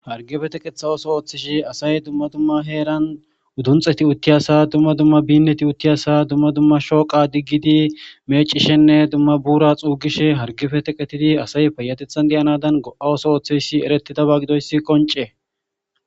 hargefe teqetha oso ooththeshi asay dumma dumma heeran udunxeti utti asa dumma dumma binneti uttiyasa dumma dumma shooqa diggidi meecishenne dumma buura xuugishe hargefe teqetidi asay payatethan deyanadan go7a oso ooththeysi eretidaba gidoysi qoncee